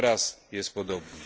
Teraz jest podobnie.